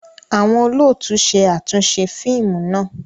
Awọn olóòtú ṣe atunṣe fíìmù náà